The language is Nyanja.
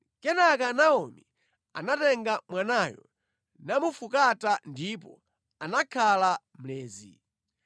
Kenaka Naomi anatenga mwanayo namufukata ndipo anakhala mlezi.